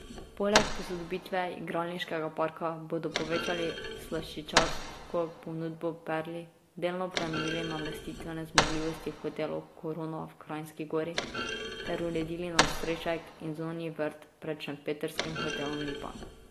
Poleg posodobitve igralniškega parka bodo povečali slaščičarsko ponudbo v Perli, delno prenovili namestitvene zmogljivosti v hotelu Korona v Kranjski Gori ter uredili nadstrešek in zunanji vrt pred šempetrskim hotelom Lipa.